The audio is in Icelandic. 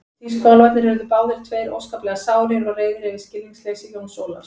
Tískuálfarnir urðu báðir tveir óskaplega sárir og reiðir yfir skilningsleysi Jóns Ólafs.